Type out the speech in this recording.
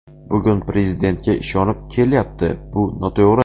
Bugun Prezidentga ishonib kelyapti, bu noto‘g‘ri.